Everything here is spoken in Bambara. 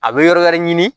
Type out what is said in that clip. A bɛ yɔrɔ wɛrɛ ɲini